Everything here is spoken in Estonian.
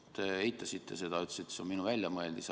Te eitasite seda ja ütlesite, et see on minu väljamõeldis.